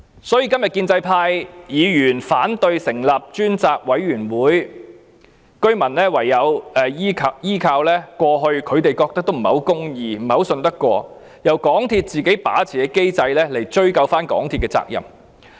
所以，今天建制派議員反對成立專責委員會，居民唯有依靠過去他們覺得不太公義、不太值得相信，由港鐵公司自己控制的機制來追究港鐵公司的責任。